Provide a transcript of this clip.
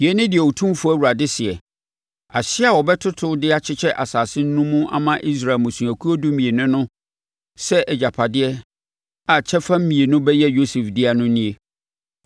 Yei ne deɛ Otumfoɔ Awurade seɛ: “Ahyeɛ a wobɛtoto de akyekyɛ asase no mu ama Israel mmusuakuo dumienu no sɛ agyapadeɛ a kyɛfa mmienu bɛyɛ Yosef dea no nie.